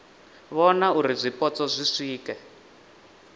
vhona uri zwipotso zwi swike